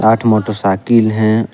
आठ मोटरसाइकिल हैं।